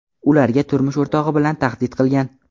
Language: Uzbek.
ularga turmush o‘rtog‘i bilan tahdid qilgan.